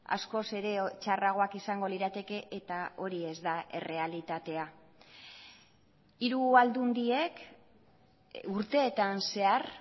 askoz ere txarragoak izango lirateke eta hori ez da errealitatea hiru aldundiek urteetan zehar